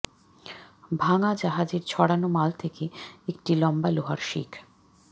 ভাঙা জাহাজের ছড়ানো মাল থেকে একটা লম্বা লোহার শিক